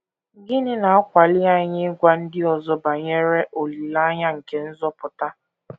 Gịnị na - akwali anyị ịgwa ndị ọzọ banyere olileanya nke nzọpụta?